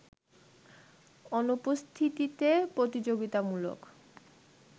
অনুপস্থিতিতে প্রতিযোগিতামূলক